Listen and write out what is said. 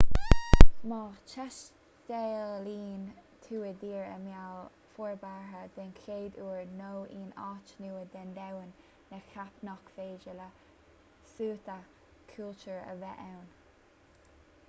má thaistealaíonn tú i dtír i mbéal forbartha den chéad uair nó in áit nua den domhan ná ceap nach féidir le suaitheadh cultúir a bheith ann